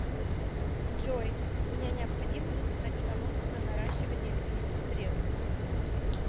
джой меня необходимо записать в салон на наращивание ресниц в среду